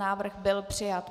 Návrh byl přijat.